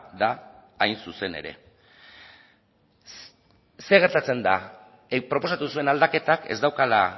da hain zuzen ere zer gertatzen da proposatu zuen aldaketak ez daukala